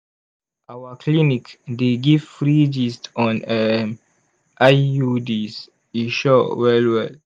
our clinic dey give free gist on um iuds e sure well well!